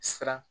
Siran